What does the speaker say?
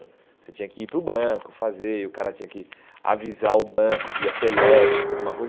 Você tinha que ir para o banco, fazer, e o cara tinha que avisar o banco via telex, alguma coisa.